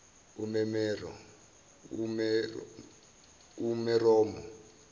umeromo